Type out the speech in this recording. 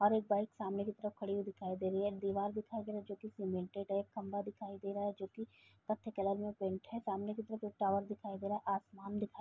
और एक बाइक सामने की तरफ खड़ी हुई दिखाई दे रही है। दीवार दिखाई दे रहा है जोकि सीमेंटेड है। खंभा दिखाई दे रहा है जोकि कत्थे कलर में पेंट है। सामने की तरफ एक टावर दिखाई दे रहा है। आसमान दिखाई --